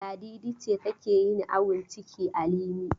Ladidi ce take yin awon ciki a Limi.